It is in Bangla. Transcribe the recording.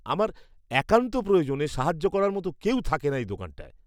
আমার একান্ত প্রয়োজনে সাহায্য করার মতো কেউই থাকে না এই দোকানটায়।